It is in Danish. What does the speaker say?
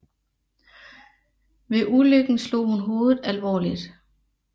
Ved ulykken slog hun hovedet alvorligt